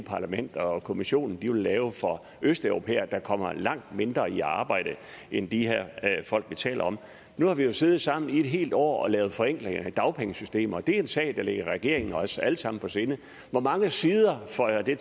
parlamentet og kommissionen vil lave for østeuropæere der kommer langt mindre i arbejde end de folk vi taler om nu har vi jo siddet sammen i et helt år og lavet forenklinger i dagpengesystemet og det er en sag der ligger regeringen og os alle sammen på sinde hvor mange sider føjer de